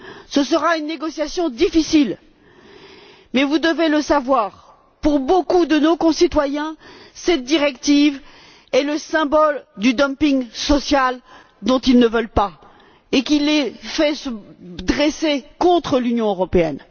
Ce sera une négociation difficile, mais vous devez savoir que, pour beaucoup de nos concitoyens, cette directive est le symbole du dumping social dont ils ne veulent pas et qui les fait se dresser contre l'Union européenne.